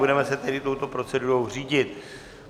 Budeme se tedy touto procedurou řídit.